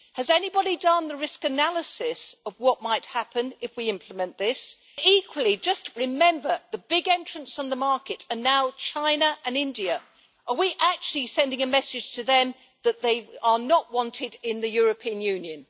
Has anyone done the risk analysis of what might happen if we implement this? Equally, remember that the big entrants in the market are now China and India. Are we actually sending a message to them that they are not wanted in the European Union?